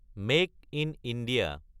মাকে in India